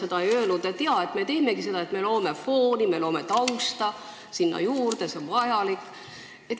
Ajakirjandus on ise öelnud, et me teeme seda selleks, et luua juurde fooni ja tausta, et see on vajalik.